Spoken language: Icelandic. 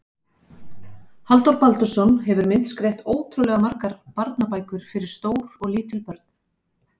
Halldór Baldursson hefur myndskreytt ótrúlega margar barnabækur fyrir stór og lítil börn.